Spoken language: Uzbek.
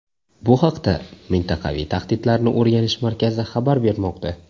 Bu haqda Mintaqaviy tahdidlarni o‘rganish markazi xabar bermoqda .